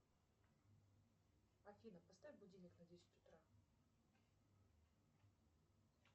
афина поставь будильник на десять утра